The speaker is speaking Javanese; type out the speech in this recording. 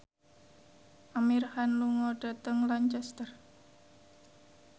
Amir Khan lunga dhateng Lancaster